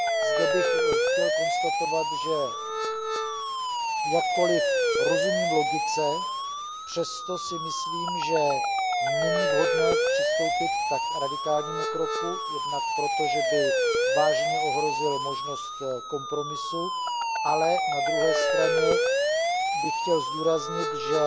Zde bych chtěl konstatovat, že jakkoliv rozumím logice, přesto si myslím, že není vhodné přistoupit k radikálnímu kroku, jednak proto, že by vážně ohrozil možnost kompromisu, ale na druhé straně bych chtěl zdůraznit, že